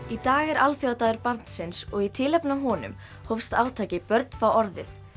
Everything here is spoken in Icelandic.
í dag er alþjóðadagur barnsins og í tilefni af honum hófst átakið börn fá orðið